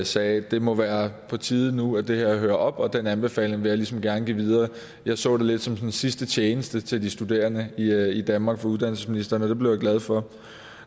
sagde at det må være på tide nu at det her hører op og at den anbefaling vil jeg ligesom gerne give videre jeg så det lidt som sådan en sidste tjeneste til de studerende i danmark fra uddannelsesministeren og det blev jeg glad for